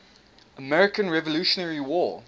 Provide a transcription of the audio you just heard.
american revolutionary war